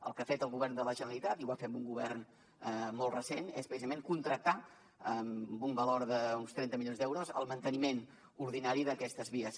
el que ha fet el govern de la generalitat i ho va fer amb un govern molt recent és precisament contractar per un valor d’uns trenta milions d’euros el manteniment ordinari d’aquestes vies